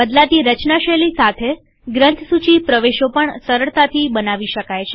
બદલાતી રચના શૈલી સાથેગ્રંથસૂચિ પ્રવેશો પણ સરળતાથી બનાવી શકાય છે